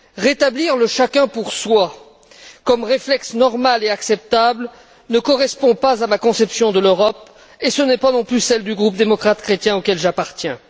Rétablir le chacun pour soi comme réflexe normal et acceptable ne correspond pas à ma conception de l'Europe et ce n'est pas, non plus, celle du groupe démocrate chrétien auquel j'appartiens.